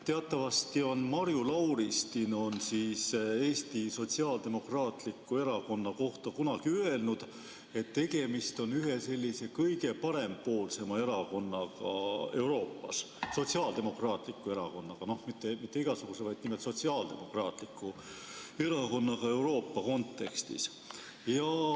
Teatavasti on Marju Lauristin Eesti Sotsiaaldemokraatliku Erakonna kohta kunagi öelnud, et tegemist on ühe kõige parempoolsema erakonnaga Euroopas – sotsiaaldemokraatliku erakonnaga, mitte igasuguse, vaid nimelt sotsiaaldemokraatliku erakonnaga Euroopa kontekstis.